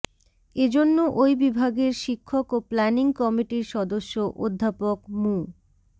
এ জন্য ওই বিভাগের শিক্ষক ও প্ল্যানিং কমিটির সদস্য অধ্যাপক মু